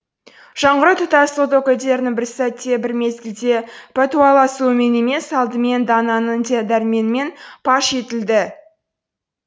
жаңғыру тұтас ұлт өкілдерінің бір сәтте бір мезгілде пәтуәласуымен емес алдымен дананың дерменімен паш етілді